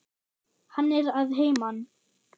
Hann er að heiman.